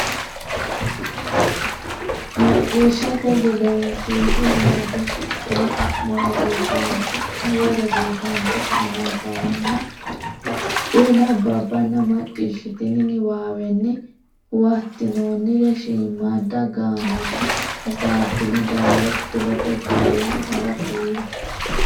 Macciishshate Gedensiidi Huwato shiqqino xa mo rosiisaanchi ne cho ne nabbawanna bbanna macciishshitini niwaawenni huwattinoonnire shiimmadda gaamonni hasaabbine dawaro kifilete jaalla nera kulle.